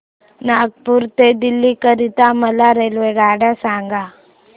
नागपुर ते दिल्ली करीता मला रेल्वेगाड्या सांगा